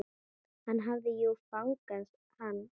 Hann hafði jú fangað hann.